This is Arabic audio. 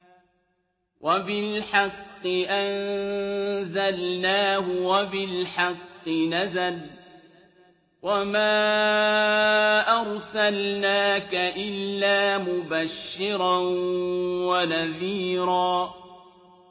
وَبِالْحَقِّ أَنزَلْنَاهُ وَبِالْحَقِّ نَزَلَ ۗ وَمَا أَرْسَلْنَاكَ إِلَّا مُبَشِّرًا وَنَذِيرًا